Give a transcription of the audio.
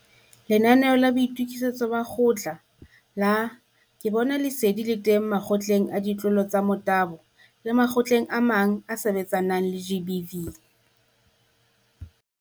Lenanaeo la Boitokisetso ba Kgotla la Ke Bona Lesedi le teng Makgotleng a Ditlolo tsa Motabo le makgotleng a mang a a sebetsanang le GBV.